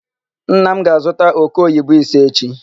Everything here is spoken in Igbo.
Nna m ga-azuta òkéoyibo ise echi.